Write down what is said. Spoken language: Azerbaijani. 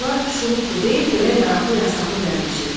Yollar şuluqdur, deyib belə yaraqlı yasaqlı gəlmişik.